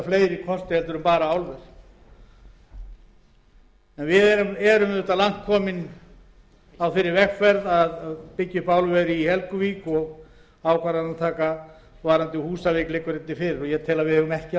fleiri kosti en bara álver við erum langt komin á þeirri vegferð að byggja upp álver í helguvík og ákvarðanataka um húsavík liggur held ég fyrir ég tel að við eigum ekki